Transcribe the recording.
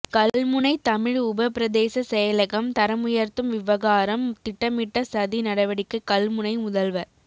கல்முனை தமிழ் உபபிரதேச செயலகம் தரமுயர்த்தும் விவகாரம் திட்டமிட்ட சதி நடவடிக்கை கல்முனை முதல்வர்